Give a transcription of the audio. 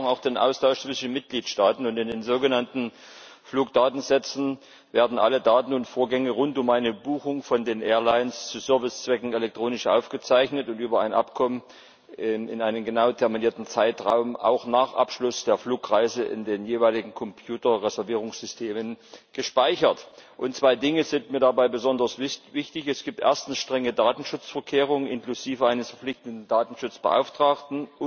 Ja, wir brauchen auch den Austausch zwischen den Mitgliedstaaten. In den sogenannten Fluggastdatensätzen werden alle Daten und Vorgänge rund um eine Buchung von den Airlines zu Servicezwecken elektronisch aufgezeichnet und über ein Abkommen in einem genau terminierten Zeitraum auch nach Abschluss der Flugreise in den jeweiligen Computer Reservierungssystemen gespeichert. Zwei Dinge sind mir dabei besonders wichtig Es gibt erstens strenge Datenschutzvorkehrungen inklusive eines verpflichtenden Datenschutzbeauftragten.